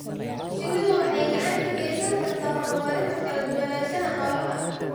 Shinnidu waxay gacan ka geysan kartaa horumarinta kala duwanaanshaha noolaha.